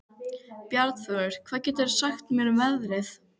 Bjarnþrúður, hvað geturðu sagt mér um veðrið?